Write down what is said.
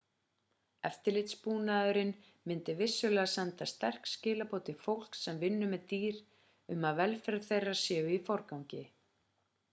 eftirlitsbúnaðurinn myndi vissulega senda sterk skilaboð til fólks sem vinnur með dýr um að velferð þeirra sé í forgangi